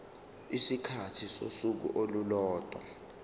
isikhathi sosuku olulodwa